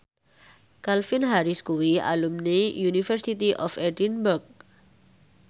Calvin Harris kuwi alumni University of Edinburgh